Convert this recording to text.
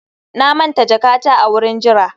na manta jakata a wurin jira